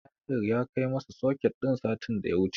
Tahir ya kai masap soket din satin da ya wuce.